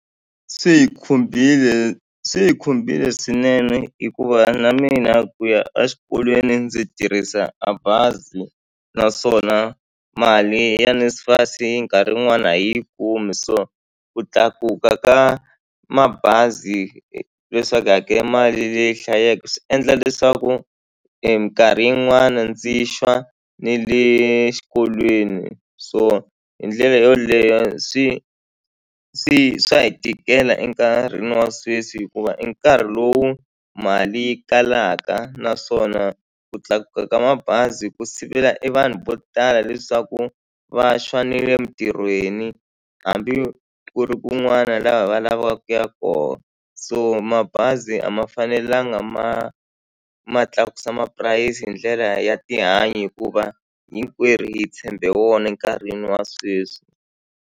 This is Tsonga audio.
Swi hi khumbile swi hi khumbile swinene hikuva na mina ku ya a xikolweni ndzi tirhisa a bazi naswona mali ya NSFAS hi nkarhi wun'wani a hi yi kumi so ku tlakuka ka mabazi leswaku hi hakela mali leyi hlayeke swi endla leswaku minkarhi yin'wana ndzi xwa ne le xikolweni so hi ndlela yoleyo swi swi swa hi tikela enkarhini wa sweswi hikuva i nkarhi lowu mali yi kalaka naswona ku tlakuka ka mabazi ku sivela e vanhu vo tala leswaku va xwa nile mintirhweni hambi ku ri kun'wana laha va lavaku ku ya koho so mabazi a ma fanelanga ma ma tlakusa mapurasi hi ndlela ya tihanyi hikuva hinkwerhu hi tshembe wona enkarhini wa sweswi.